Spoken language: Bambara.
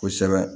Kosɛbɛ